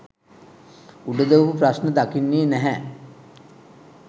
උඩු දුවපු ප්‍රශ්න දකින්නේ නැහැ